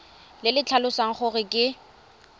le le tlhalosang gore ke